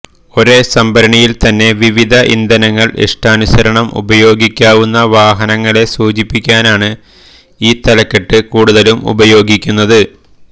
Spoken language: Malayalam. ഒരേ സംഭരണിയിൽ തന്നെ വിവിധ ഇന്ധനങ്ങൾ ഇഷ്ടാനുസരണം ഉപയോഗിക്കാവുന്ന വാഹനങ്ങളെ സൂചിപ്പിക്കാനാണ് ഈ തലക്കെട്ട് കൂടുതലും ഉപയോഗിക്കുന്നത്